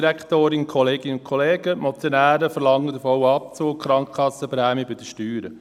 Die Motionäre verlangen den vollen Abzug der Krankenkassenprämien von den Steuern.